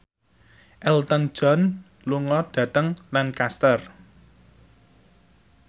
Elton John lunga dhateng Lancaster